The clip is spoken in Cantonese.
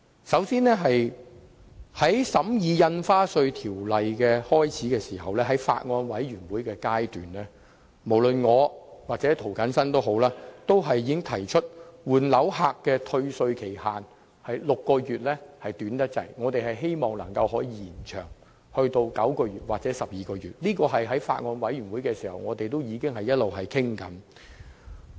首先，在一開始審議《2017年印花稅條例草案》時，即法案委員會階段，無論我或涂謹申議員均曾經指出，換樓人士的6個月退稅期限過於短暫，希望可以延長至9個月或12個月，這項建議在法案委員會階段已經開始討論。